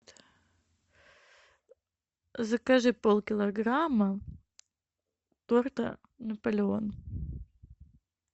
закажи пол килограмма торта наполеон